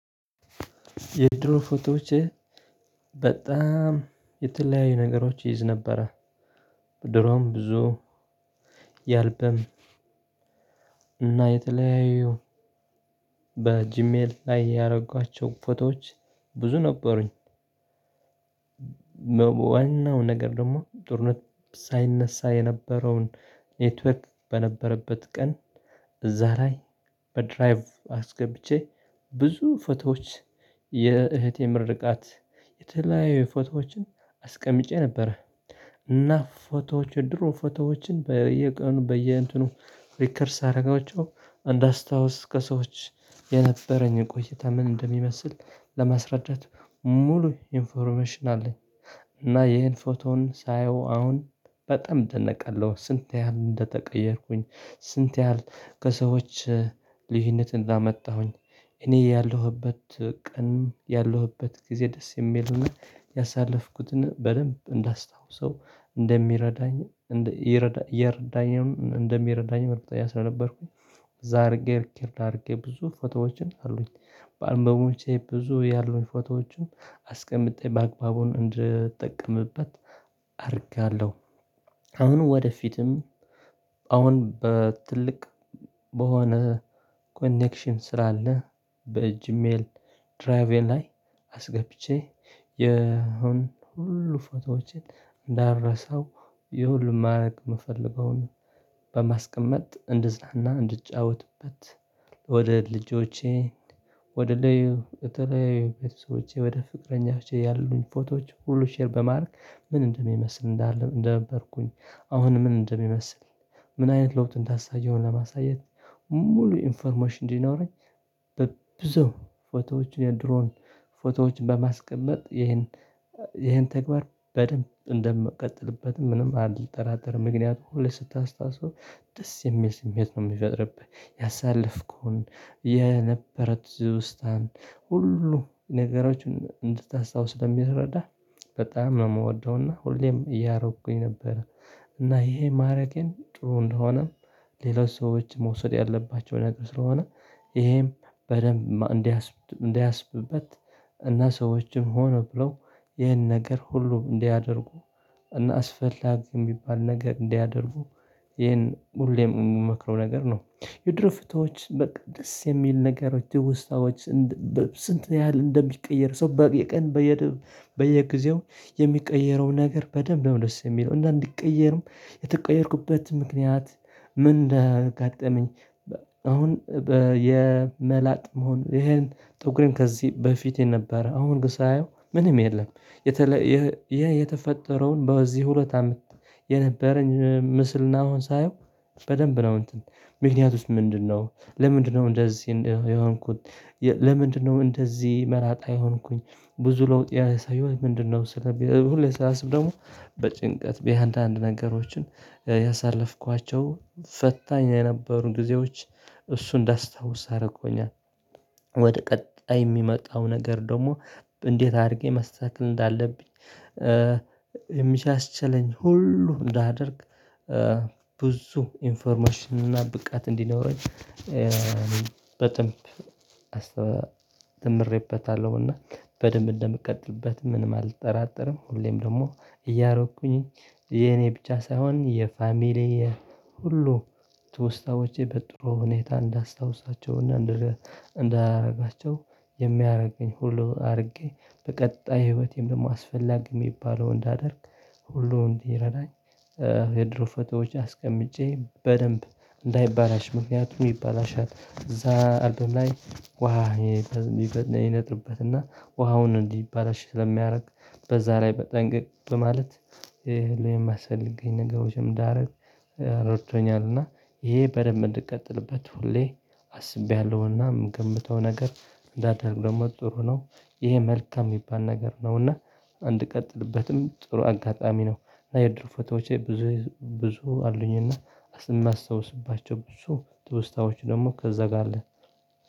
የድሮ ፎቶዎቼ በጣም የተለያዩ ነገሮች ይይዝ ነበረ። በድሮም ብዙ ያልበም እና የተለያየው በጂሜል ላይ ያደረጓቸው ፎቶዎች ብዙ ነበሩኝ። ዋናው ነገር ደግሞ ጦርነት ሳይነሳ የነበረውን ኔትወክት በነበረበት ቀን እዛ ላይ በድራይቭ አስገብቼ ብዙ ፎቶዎች የእህት የምርቃት የተለያዩ ፎቶዎችን አስቀምጬ ነበረ። እና ፎቶዎች የድሮ ፎቶዎችን በየቀኑ በየእንትኑ ሪከርድ ሳደረጋቸው እንዳስታውስ ከሰዎች የነበረኝን ቆይታ ምን እንደሚመስል ለማስረዳት ሙሉ ኢንፎርሜሽን አለኝ። እና ይሄን ፎቶውን ሳየው አሁን በጣም ደነቀለሁ ስንት ያህል እንደተቀየርኩኝ ስንት ያህል ከሰዎች ልዩነት እንዳመጣሁኝ። እኔ ያለሁበት ቀን ያለሁበት ጊዜ ደስ የሚል ሆነ ያሳለፍኩትን በደንብ እንዳስታውሰው እንደሚረዳኝ እንደ ሚረዳኝም እንደሚረዳኝም እርግጠኛ ስለነበርኩኝ። እዛ አድርጌ እርግጥ አድርጌ ብዙ ፎቶዎችን አሉኝ በአልቨቦቼ ብዙ ያሉኝ ፎቶዎችም አስቀምጠኝ በአግባቡን እንድትጠቀምበት አደርጋለሁ። አሁን ወደፊትም አሁን በትልቅ በሆነ ኮኔክሽን ስላለ በጂሜል ድራቬል ላይ አስገብቼ የሆነ ሁሉ ፎቶዎችን እንዳረሳው ይሁሉን ማድረግ የምፈልገውን በማስቀመጥ እንድዝናና እንድጫወትበት። ወደ ልጆቼ ወደ ልዩ በተለያዩ ቤተሰቦቼ ወደ ፍቅረኛዎቼ ያሉኝ ፎቶዎች ሁሉ ሼር በማርክ ምን እንደሚመስል እንደነበርኩኝ አሁን ምን እንደሚመስል ምን አይነት ለውጥ እንዳሳየው ለማሳየት ሙሉ ኢንፎርሞሽን እንዲኖረኝ። በብዙ ፎቶዎችን የድሮን ፎቶዎችን በማስቀመጥ ይሄን ይሄን ተግባር በደንብ እንደምቀጥልበትም ምንም አልጠራጠርም። ምክንያቱ ሁሌ ስታስታውስው ደስ የሚል ስሜት ነው የሚፈጥርብህ ያሳለፍከውን የነበረ ትውስታን ሁሉ ነገሮችን እንድታስታውስ ስለሚረዳ በጣም ነው የምወደውና ሁሌም እያረኩኝ ነበር። እና ይሄ ማረጌን ጥሩ እንደሆነም ሌሎች ሰዎች መውሰድ ያለባቸው ነገር ስለሆነ ይሄም በደንብ እንዳያስብበት እና ሰዎችም ሆነ ብለው ይህን ነገር ሁሉ እንዲያደርጉ እና አስፈላጊ የሚባል ነገር እንዲያደርጉ ይሄን ሁሌም የምመክረው ነገር ነው። የድሮ ፍቶች በቃ ደስ የሚል ነገሮች ትውስታዎች። ስንት ያህል እንደሚቀየር ሰው በቃ የቀን በየ በየጊዜው የሚቀየረው ነገር በደንብ ነው ደስ የሚለው እንደአንድ ቀየርም የተቀየርኩበት ምክንያት። ምን እንዳጋጠመኝ አሁን የመላጥ መሆን ይሄን ጥቁርን ከዚህ በፊቴ ነበር አሁን ሳየው ምንም የለም። የተፈጠረውን በዚህ ሁለት አመት የነበረኝ ምስልናውን ሳየው በደንብ ነው እንትን ምክንያቱስ ምንድነው? ለምንድነው እንደዚህ የሆንኩት? ለምንድነው እንደዚህ መላጣ የሆንኩኝ? ብዙ ለውጥ ያሳየው ምንድነው? ሁሌ ሰላሳ ስም ደግሞ በጭንቀት በየአንዳንድ ነገሮችን ያሳለፍኳቸው ፈታኝ የነበሩ ጊዜዎች እሱ እንዳስታውስ አረጎኛል። ወደ ቀጣይ የሚመጣው ነገር ደግሞ እንዴት አድርጌ መስተካከል እንዳለብኝ። የሚሻሽለኝ ሁሉ እንዳደርግ። ብዙ ኢንፎርሜሽን እና ብቃት እንዲኖረኝ። በደንብ ተምሬበታለሁና በደንብ እንደምቀጥልበት ምንም አልጠራጠርም። ሁሌም ደግሞ እያረኩኝ የኔ ብቻ ሳይሆን የፋሚሊ ሁሉ በጥሮ ሁኔታ እንዳስታውሳቸው እና እንዳላረጋቸው የሚያደርገኝ ሁሉ አድርጌ በቀጣይ ህይወቴም ደግሞ አስፈላጊ የሚባለው እንዳደርግ ሁሉ እንዲረዳኝ። የድሮ ፎቶዎች አስቀምጬ በደንብ እንዳይባላሽ ምክንያት ይባላሻል እዛ አልበም ላይ ውሃ ይነጥርበትና ውሃውን እንዲባላሽ ስለሚያደርግ በዛ ላይ በጠንቅቅ ማለት ነው የሚያስፈልግኝ ነገሮችም እዳረግ ረድቶኛልና። ይሄ በደንብ እንድቀጥልበት ሁሌ አስቤያለሁና የምገምተው ነገር እንዳደርግ ደግሞ ጥሩ ነው። ይሄ መልካም የሚባል ነገር ነውና እንድቀጥልበትም ጥሩ አጋጣሚ ነው። እና የድርፎቴዎቼ ብዙ ብዙ አሉኝና ማስታውስባቸው ብዙ ጥሩ ትውስታዎች ደግሞ ከዛ ጋር አለ